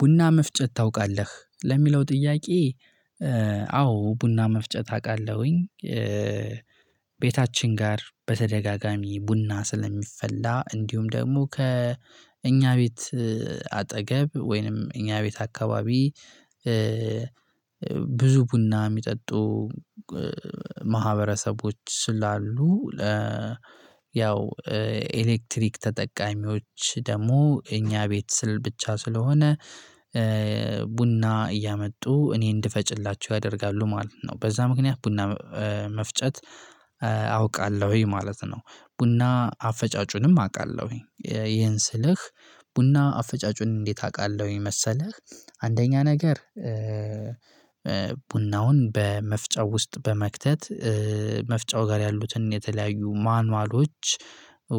ቡና መፍጨት ታውቃለህ ለሚለው ጥያቄ? አዎ ቡና መፍጨት አውቃለሁኝ። ቤታችን ጋር በተደጋጋሚ ቡና ስለሚፈላ እንዲሁም ደግሞ ከእኛ ቤት አጠገብ ወይንም እኛ ቤት አካባቢ ብዙ ቡና የሚጠጡ ማህበረሰቦች ስላሉ። ያው ኤሌክትሪክ ተጠቃሚዎች ደግሞ እኛ ቤት ስል ብቻ ስለሆነ ቡና እያመጡ እኔ እንድፈጭላቸው ያደርጋሉ ማለት ነው። በዛ ምክንያት ቡና መፍጨት አውቃለሁኝ ማለት ነው። ቡና አፈጫጩንም አውቃለሁኝ ይሄን ስልህ ቡና አፈጫጩን እንዴት አውቃለሁኝ መሰለህ? አንደኛ ነገር። ቡናውን በመፍጫው ውስጥ በመክተት መፍጫው ጋር ያሉትን የተለያዩ ማኑዋሎች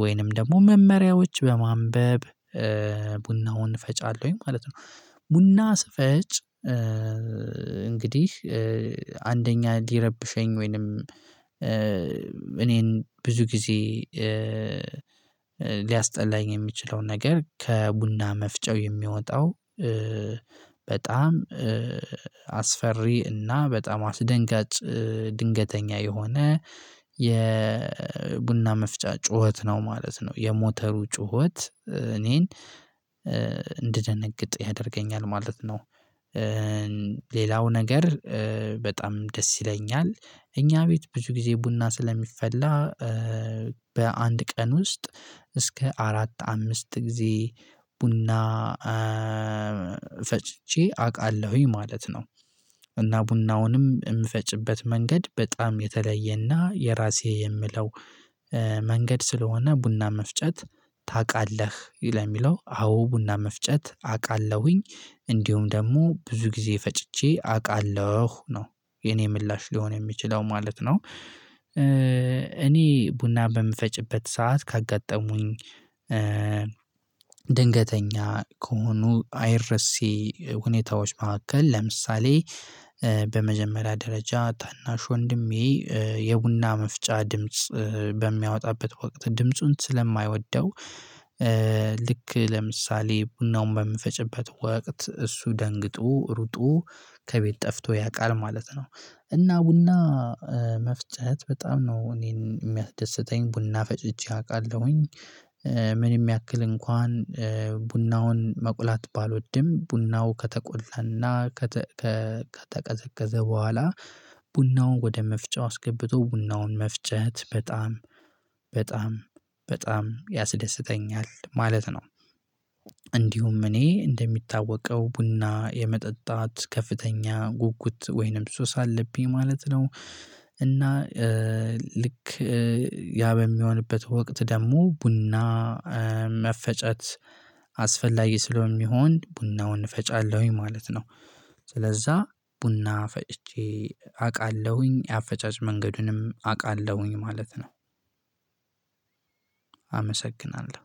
ወይንም ደግሞ መመሪያዎች በማንበብ ቡናውን ፈጫለሁኝ ማለት ነው። ቡና ስፈጭ። እንግዲህ አንደኛ ሊረብሸኝ ወይንም እኔን ብዙ ጊዜ ሊያስጠላኝ የምችለውን ነገር ከቡና መፍጨው የሚወጣው በጣም አስፈሪ እና በጣም አስደንጋጭ ድንገተኛ የሆነ የቡና መፍጫ ጩኸት ነው ማለት ነው። የሞተሩ ጩኸት እኔን እንድደነግጥ ያደርገኛል ማለት ነው። ሌላው ነገር። በጣም ደስ ይለኛል እኛ ቤት ብዙ ጊዜ ቡና ስለሚፈላ በአንድ ቀን ውስጥ እስከ አራት አምስት ጊዜ ቡና ፈጭቼ አውቃለሁኝ ማለት ነው። እና ቡናውንም የምፈጭበት መንገድ በጣም የተለየና የራሴ የምለው መንገድ ስለሆነ ቡና መፍጨት። ታውቃለህ? ለሚለው አዎ ቡና መፍጨት አውቃለሁኝ። እንዲሁም ደግሞ ብዙ ጊዜ ፈጭቼ አውቃለሁ ነው የኔ ምላሽ ሊሆን የሚችለው ማለት ነው። እኔ ቡና በምፈጭበት ሰዓት ካጋጠሙኝ ድንገተኛ ከሆኑ አይረሴ ሁኔታዎች መካከል ለምሳሌ። በመጀመሪያ ደረጃ ታናሽ ወንድሜ የቡና መፍጫ ድምጽ በሚያወጣበት ወቅት ድምፁን ስለማይወደው። ልክ ለምሳሌ ቡናውን በምፈጭበት ወቅት እሱ ደንግጦ ሩጦ ከቤት ጠፍቶ ያውቃል ማለት ነው። እና ቡና መፍጨት በጣም ነው እኔን የሚያስደስተኝ ቡና ፈጭቼ አውቃለሁኝ። ምንም ያክል እንኳን ቡናውን መቁላት ባልወድም ቡናው ከተቆለና ከተቀዘቀዘ በኋላ ቡናውን ወደ መፍጫው አስገብቶ ቡናውን መፍጨት በጣም በጣም ያስደስተኛል ማለት ነው። እንዲሁም እኔ እንደሚታወቀው ቡና የመጠጣት ከፍተኛ ጉጉት ወይንም ሱስ አለብኝ ማለት ነው። እና ልክ ያ በሚሆንበት ወቅት ደግሞ ቡና መፈጨት አስፈላጊ ስለሚሆን ቡናውን እፈጫለሁኝ ማለት ነው። ስለዛ ቡና ፈጭቼ አውቃለሁኝ አፈጫጭ መንገዱንም አውቃለሁኝ ማለት ነው። አመሰግናለሁ።